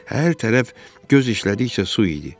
Hər tərəf göz işlədikcə su idi.